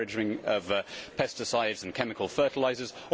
the encouraging of pesticides and chemical fertilizers